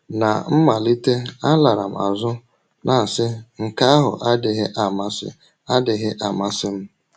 Ná mmalite, alara m azụ, na - asị: ‘ Nke ahụ adịghị amasị adịghị amasị m. ’